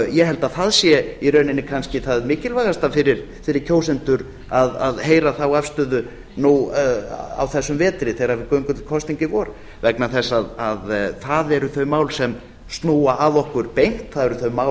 ég held að það sé í rauninni kannski það mikilvægasta fyrir kjósendur að heyra þá afstöðu nú á þessum vetri þegar við göngum til kosninga í vor vegna þess að það eru þau mál sem snúa að okkur beint það eru þau mál